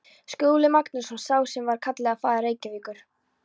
Skúli Magnússon, sá sem var kallaður faðir Reykjavíkur.